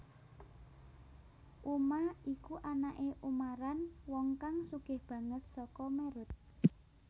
Uma iku anake Umaran wong kang sugih banget saka Merut